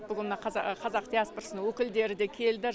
бүгін мына қазақ диаспорасының өкілдері де келді